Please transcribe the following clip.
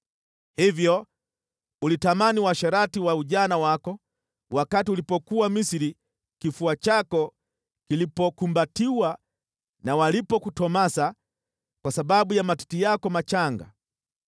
Hivyo ulitamani uasherati wa ujana wako wakati ulipokuwa Misri, kifua chako kilipokumbatiwa, na walipokutomasa kwa sababu ya matiti yako machanga.